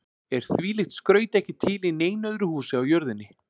Er þvílíkt skraut ekki til í neinu öðru húsi á jörðinni.